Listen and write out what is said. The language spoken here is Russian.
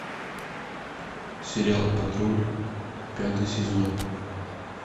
сериал патруль пятый сезон